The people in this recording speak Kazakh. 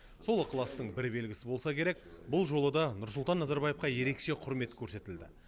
сол ықыластың бір белгісі болса керек бұл жолы да нұрсұлтан назарбаевқа ерекше құрмет көрсетілді